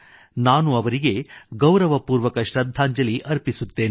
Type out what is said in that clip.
ನಾನು ಅವರಿಗೆ ಗೌರವಪೂರ್ವಕ ಶ್ರದ್ಧಾಂಜಲಿ ಅರ್ಪಿಸುತ್ತೇನೆ